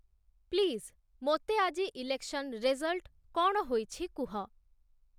please ମୋତେ ଆଜି election result କ’ଣ ହୋଇଛି କୁହ